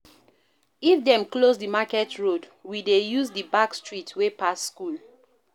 If dem close di market road, we dey use di back street wey pass skool.